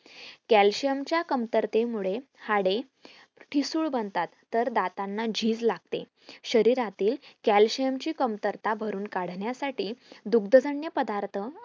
calcuim च्या कमतरतेमुळे हाडे ठिसूळ बनता तर दातांना झीज लागते शरीरातील calcium ची कमतरता भरून काढण्यासाठी दुगद्जग्न पदार्थ